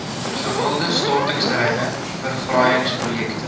gewilde stortingsterreine verfraaiingsprojekte